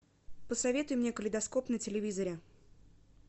посоветуй мне калейдоскоп на телевизоре